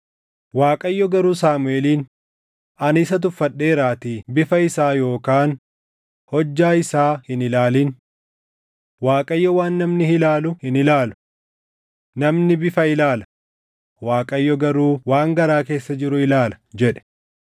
Waaqayyo garuu Saamuʼeeliin, “Ani isa tuffadheeraatii bifa isaa yookaan hojjaa isaa hin ilaalin. Waaqayyo waan namni ilaalu hin ilaalu. Namni bifa ilaala; Waaqayyo garuu waan garaa keessa jiru ilaala” jedhe.